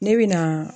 Ne bɛ na